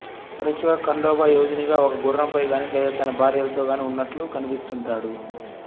తరచుగా ఖండోబా యోధినిగా ఒక గుర్రంపై గానీ లేదా తన భార్యలతో గానీ ఉన్నట్లు కనిపిస్తుంటాడు